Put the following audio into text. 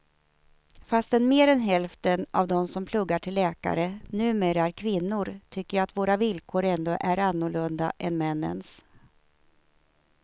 Fastän mer än hälften av de som pluggar till läkare numera är kvinnor tycker jag att våra villkor ändå är annorlunda än männens.